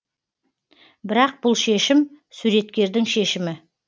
бірақ бұл шешім суреткердің шешімі